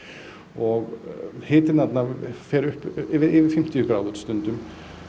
og hitinn þarna fer yfir fimmtíu gráður stundum